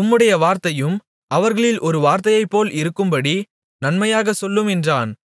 உம்முடைய வார்த்தையும் அவர்களில் ஒருவர் வார்த்தையைப்போல இருக்கும்படி நன்மையாகச் சொல்லும் என்றான்